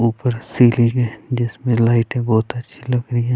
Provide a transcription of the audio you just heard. ऊपर सीलिंग है जिसमें लाइटे बहोत अच्छी लग रही है।